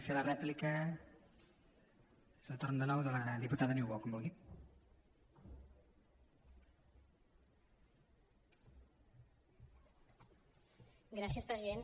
gràcies president